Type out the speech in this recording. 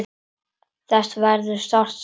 Þess verður sárt saknað.